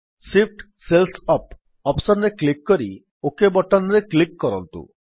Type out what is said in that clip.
Shift cells up option ରେ click କରି OK button ରେ କ୍ଲିକ୍ କରନ୍ତୁ